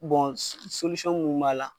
munnu b'a la.